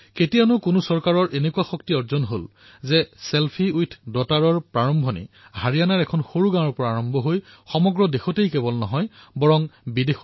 কেতিয়াবা কোনো চৰকাৰৰ ইমান শক্তি হবনে যে ছেলফি উইথ ডটাৰৰ ধাৰণা হাৰিয়াণাৰ এখন সৰু গাঁৱৰ পৰা আৰম্ভ কৰি সমগ্ৰে দেশতেই নহয় বিদেশতো ই জনপ্ৰিয় হৈছে